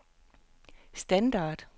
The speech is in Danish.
standard